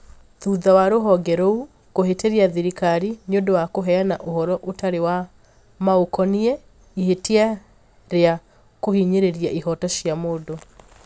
Thutha wa rũhonge rũu kũhĩtĩria thirikari nĩ ũndũ wa kũheana ũhoro ũtarĩ wa maũkoniĩ ihĩtia rĩa kũhinyĩrĩria ihoto cia mũndũ.